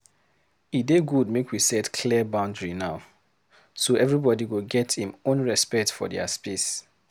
E dey good make we set clear boundary now, so everybody go get im own respect for dier space.